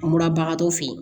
An bɔra bagatɔ fe yen